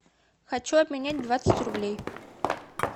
хочу обменять двадцать рублей